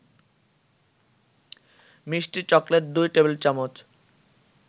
মিষ্টি চকলেট ২ টেবিল-চামচ